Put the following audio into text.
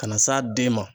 Ka na s'a den ma